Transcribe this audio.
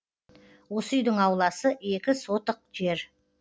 осы үйдің ауласы екі сотық жер